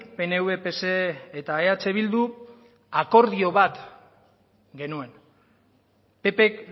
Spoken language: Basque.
pnv pse eta eh bildu akordio bat genuen ppk